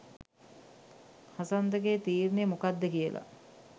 හසන්තගේ තීරණය මොකක්ද කියලා